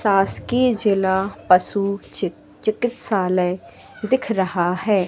शासकीय जिला पशु चिक चिकित्सालय दिख रहा है।